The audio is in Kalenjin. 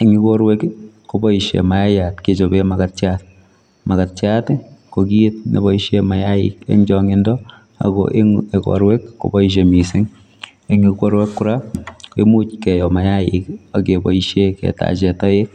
en Yuu boruek ii kobaishe maayat kechapeen makatiat, makatiat ko kiit nebaisheen mayaik eng chaangindo ako eng igoruek kobaishe missing, eng igoruek kora koimuuch keyoo mayaik ak kebaisheen ketacheen taek